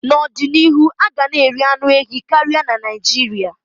N'ọdịnihu, a ga na eri anụ ehi karịa na Naịjirịa.